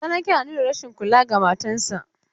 Salanke na nuna rashin kula ga matan sa.